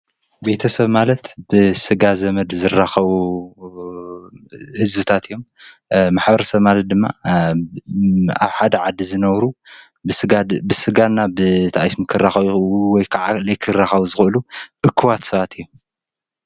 ቤተ-ሰብ ማለት ብስጋ ዘመድ ዝራከቡ ህዝብታት እዮም። ማሕበረሰብ ድማ ኣብ ሓደ ዓዲ ዝነብሩ ብስጋና ብእታእስሙ ክራከቡ ወይ ከዓ ዘይክራከቡ ዝክእሉ እኹባት ሰባት እዮም።